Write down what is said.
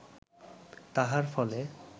তাহার ফলে